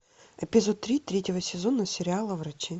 эпизод три третьего сезона сериала врачи